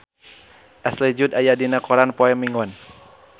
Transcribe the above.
Ashley Judd aya dina koran poe Minggon